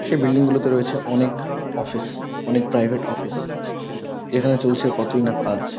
সে building গুলোতে রয়েছে অনেক অফিস অনেক প্রাইভেট অফিস যেখানে চলছে কতই না কাজ।